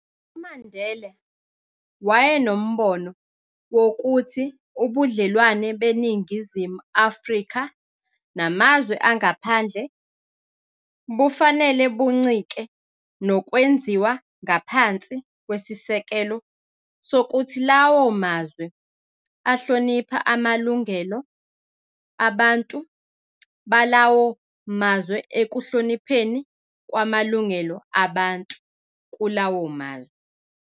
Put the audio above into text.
UMandela wayenombono wokuthi ubudlelwane beNingizimu Afrika namazwe angaphandle bufanele buncike nokwenziwa ngaphansi kwesisekelo sokuthi lawo mazwe ahlonipha amalungelo abantu balawo mazwe ekuhlonipheni kwamalungelo abantu, kulawo mazwe".